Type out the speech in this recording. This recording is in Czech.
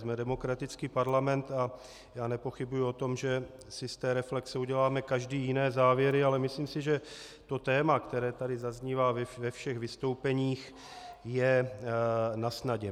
Jsme demokratický parlament a já nepochybuji o tom, že si z té reflexe uděláme každý jiné závěry, ale myslím si, že to téma, které tady zaznívá ve všech vystoupeních, je nasnadě.